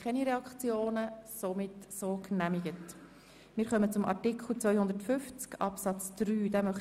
Die Gemeinde setzt die Steueranlage zusammen mit dem Beschluss über das Budget jährlich fest.